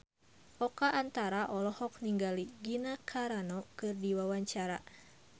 Oka Antara olohok ningali Gina Carano keur diwawancara